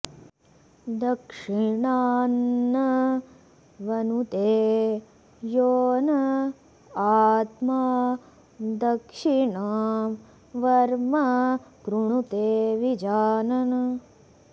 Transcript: दक्षि॒णान्नं॑ वनुते॒ यो न॑ आ॒त्मा दक्षि॑णां॒ वर्म॑ कृणुते विजा॒नन्